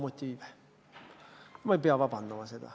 Ma ei pea selle pärast vabandama.